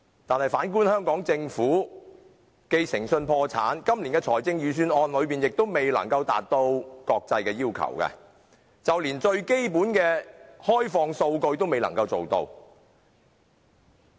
但是，反觀香港政府，誠信破產，今年的財政預算案亦未能達到國際要求，就連最基本的開放數據也未能做到。